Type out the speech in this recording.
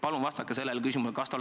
Palun vastake sellele küsimusele!